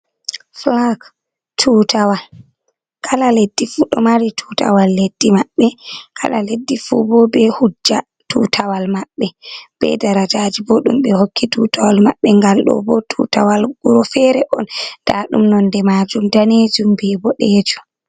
Fulak tutawal. Kala leɗɗi fu ɗo mari tutawal leɗɗi mabɓe. Ksla leɗɗi fu bo be hujja tutawal mabɓe be darajaji bo ɗum be hokki tutawal mabɓe. Gal do bo tutawal wuro fere on ɗa ɗum nonɗe majum ɗanejum bi balejum.